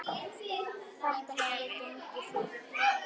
Þetta hefur gengið fínt.